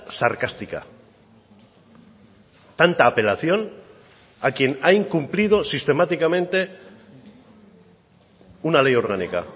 sarcástica tanta apelación a quien ha incumplido sistemáticamente una ley orgánica